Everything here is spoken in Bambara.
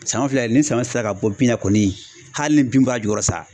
Saɲɔ filɛ ni saɲɔ sela ka bɔ bin na kɔni hali ni bin b'a jukɔrɔ sa